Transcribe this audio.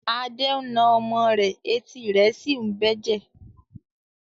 Ade ń na ọmọ rẹ̀ etí rẹ̀ sì ń bẹ́jẹ̀.